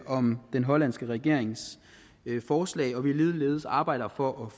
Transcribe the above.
om den hollandske regerings forslag og at vi ligeledes arbejder for